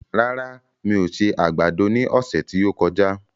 Rárá, mi ò se àgbàdo ní ọ̀sẹ̀ tí ó kọjá